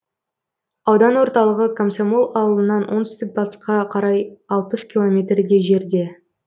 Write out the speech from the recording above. аудан орталығы комсомол ауылынан оңтүстік батысқа қарай алпыс километрдей жерде